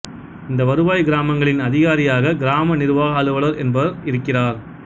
இந்த வருவாய்க் கிராமங்களின் அதிகாரியாக கிராம நிர்வாக அலுவலர் என்பவர் இருக்கிறார்